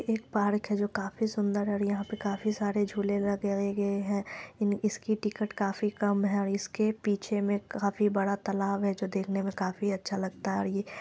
एक पार्क है जो काफी सुंदर और यहाँ पे काफी सारे झूले लगाये गए है। इन इसकी टिकट काफी कम है और इसके पीछे मे काफी बड़ा तालाब है जो देखने मे काफी अच्छा लगता है और ये--